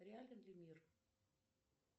реален ли мир